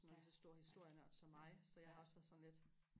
og sådan en stor historienørd som mig så jeg har også været sådan lidt